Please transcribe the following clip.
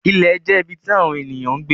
Ìlẹ̀ jẹ́ ibí tí awọn ènìyàn ń gbẹ.